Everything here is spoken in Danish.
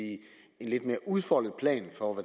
en lidt mere udfoldet plan for